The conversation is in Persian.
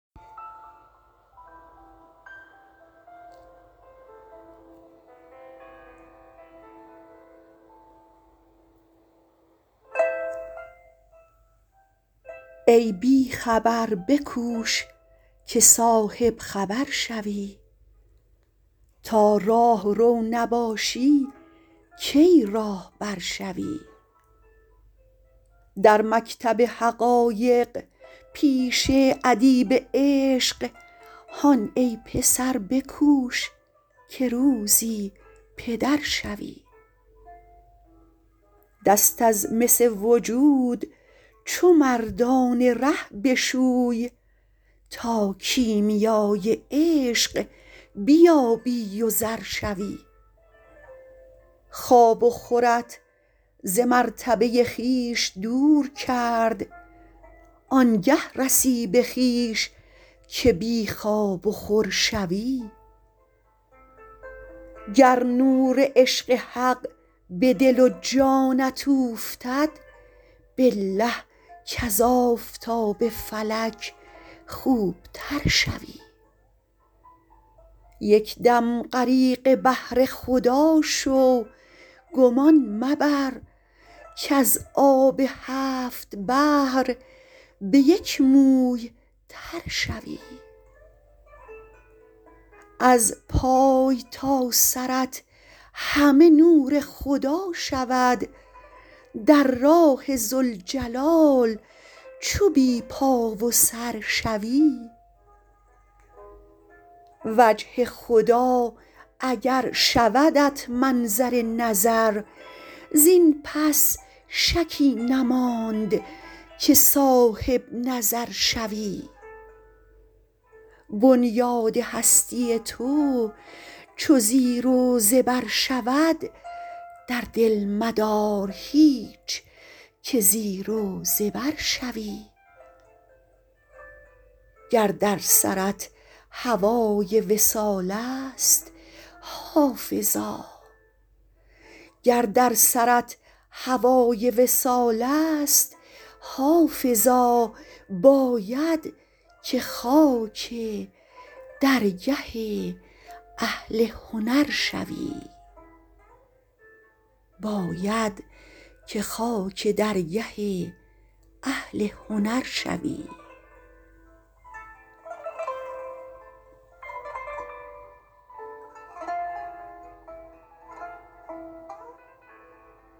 ای بی خبر بکوش که صاحب خبر شوی تا راهرو نباشی کی راهبر شوی در مکتب حقایق پیش ادیب عشق هان ای پسر بکوش که روزی پدر شوی دست از مس وجود چو مردان ره بشوی تا کیمیای عشق بیابی و زر شوی خواب و خورت ز مرتبه خویش دور کرد آن گه رسی به خویش که بی خواب و خور شوی گر نور عشق حق به دل و جانت اوفتد بالله کز آفتاب فلک خوب تر شوی یک دم غریق بحر خدا شو گمان مبر کز آب هفت بحر به یک موی تر شوی از پای تا سرت همه نور خدا شود در راه ذوالجلال چو بی پا و سر شوی وجه خدا اگر شودت منظر نظر زین پس شکی نماند که صاحب نظر شوی بنیاد هستی تو چو زیر و زبر شود در دل مدار هیچ که زیر و زبر شوی گر در سرت هوای وصال است حافظا باید که خاک درگه اهل هنر شوی